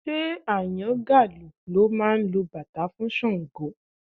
Ṣé Àyàngalú ló máa lu bàtá fún Ṣàngó?